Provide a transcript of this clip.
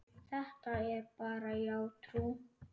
Þetta er bara hjátrú.